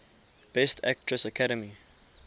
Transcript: best actress academy